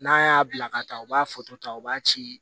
N'a y'a bila ka taa u b'a ta u b'a ci